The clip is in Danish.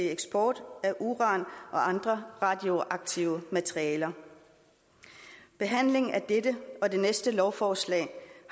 eksport af uran og andre radioaktive materialer behandlingen af dette og det næste lovforslag